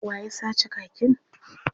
Wa ya sace kakin?